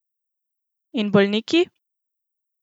In bolniki?